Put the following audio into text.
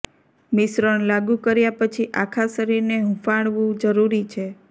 મિશ્રણ લાગુ કર્યા પછી આખા શરીરને હૂંફાળવું જરૂરી છે